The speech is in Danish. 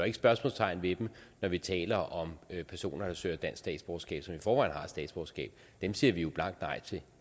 ikke spørgsmålstegn ved dem når vi taler om personer der søger dansk statsborgerskab som i forvejen har et statsborgerskab dem siger vi jo blankt nej til